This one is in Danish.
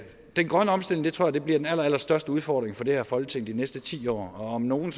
grønne omstilling tror jeg bliver den allerallerstørste udfordring for det her folketing i de næste ti år og om nogen